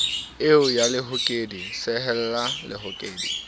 eo ya lehokedi sehella lehokedi